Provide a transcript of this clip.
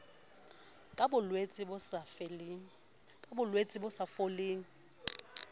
ka bolwetse bo sa foleng